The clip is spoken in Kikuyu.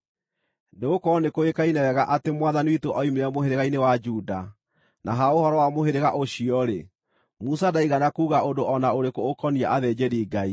Nĩgũkorwo nĩkũĩkaine wega atĩ Mwathani witũ oimire mũhĩrĩga-inĩ wa Juda, na ha ũhoro wa mũhĩrĩga ũcio-rĩ, Musa ndaigana kuuga ũndũ o na ũrĩkũ ũkoniĩ athĩnjĩri-Ngai.